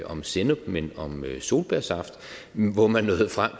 om sennep men om solbærsaft hvor man nåede frem